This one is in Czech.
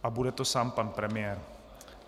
A bude to sám pan premiér.